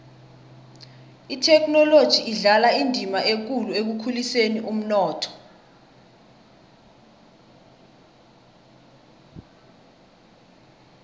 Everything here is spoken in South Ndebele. ithekhinoloji idlala indima ekulu ekukhuliseni umnotho